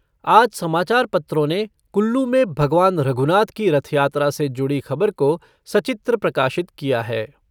आज समाचार पत्रों ने कुल्लू में भगवान रघुनाथ की रथयात्रा से जुड़ी खबर को सचित्र प्रकाशित किया है।